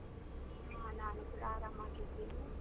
ಹಾ ನಾನು ಕೂಡ ಆರಾಮಾಗಿದ್ದೇನೆ.